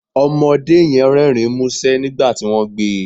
Ọmọdé yẹn Rẹ́rìn-ín músẹ́ nígbà tí wọ́n gbé e